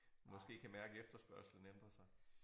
Måske kan mærke efterspørgslen ændrer sig